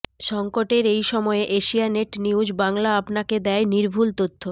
সঙ্কটের এই সময়ে এশিয়ানেট নিউজ বাংলা আপনাকে দেয় নির্ভুল তথ্য